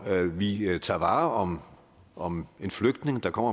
vi tager vare om om en flygtning der kommer